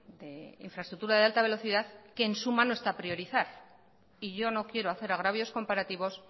de infraestructura de alta velocidad que en su mano está priorizar y yo no quiero hacer agravios comparativos